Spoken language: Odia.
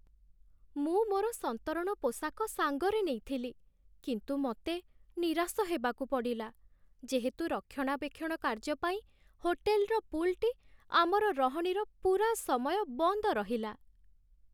ମୁଁ ମୋର ସନ୍ତରଣ ପୋଷାକ ସାଙ୍ଗରେ ନେଇଥିଲି, କିନ୍ତୁ ମୋତେ ନିରାଶ ହେବାକୁ ପଡ଼ିଲା, ଯେହେତୁ ରକ୍ଷଣାବେକ୍ଷଣ କାର୍ଯ୍ୟ ପାଇଁ ହୋଟେଲ୍‌ର ପୁଲ୍‌ଟି ଆମର ରହଣିର ପୂରା ସମୟ ବନ୍ଦ ରହିଲା।